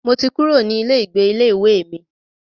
Mo ti kúrò ní ilé ìgbé ilé ìwé mi.